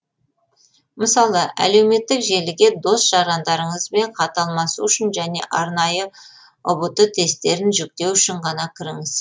мысалы әлеуметтік желіге дос жарандарыңызбен хат алмасу үшін және арнайы ұбт тесттерін жүктеу үшін ғана кіріңіз